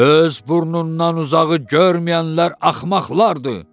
Öz burnundan uzağı görməyənlər axmaqlardır.